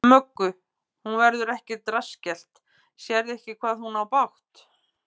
Möggu: Hún verður ekkert rassskellt, sérðu ekki hvað hún á bágt?